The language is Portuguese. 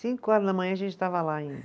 Cinco horas da manhã a gente estava lá ainda.